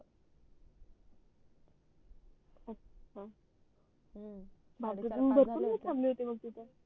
हम्म भरपूर वेळ थांबले होते